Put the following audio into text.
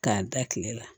K'a da kile la